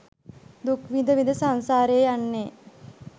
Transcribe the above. දුක් විඳ විඳ සංසාරයේ යන්නේ.